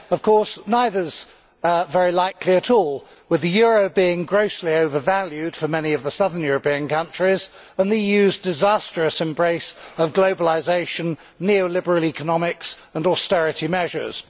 Of course neither is very likely at all with the euro being grossly overvalued for many of the southern European countries and the EU's disastrous embrace of globalisation, neo liberal economics and austerity measures.